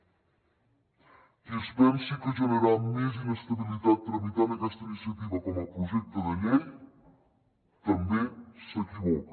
qui es pensi que generarà més inestabilitat tramitant aquesta iniciativa com a projecte de llei també s’equivoca